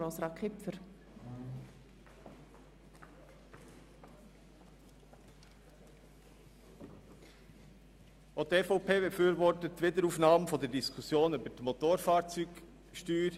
Auch die EVP befürwortet die Wiederaufnahme der Diskussion über die Motorfahrzeugsteuer.